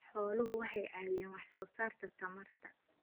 Xooluhu waxay caawiyaan wax soo saarka tamarta.